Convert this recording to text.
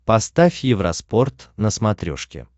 поставь евроспорт на смотрешке